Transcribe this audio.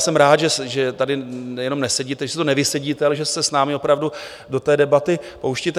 Jsem rád, že tady jenom nesedíte, že si to nevysedíte, ale že se s námi opravdu do té debaty pouštíte.